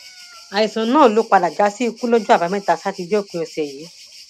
àìsàn náà ló padà já síkú lọjọ àbámẹta sátidé òpin ọsẹ yìí